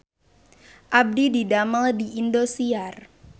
Abdi didamel di Indosiar